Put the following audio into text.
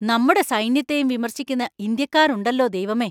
നമ്മുടെ സൈന്യത്തെയും വിമർശിക്കുന്ന ഇന്ത്യക്കാർ ഉണ്ടല്ലോ ദൈവമേ!